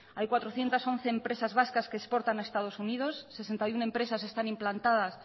hay cuatrocientos once empresas vascas que exportan a estados unidos sesenta y uno empresas están implantadas